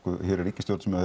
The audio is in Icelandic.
hér er ríkisstjórn sem